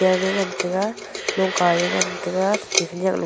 ger ngan taiga longka ya ngan taiga thete khanaklo--